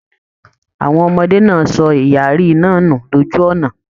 Àwọn ọmọdé náà sọ ìyàrí náà nù lójú ọnà.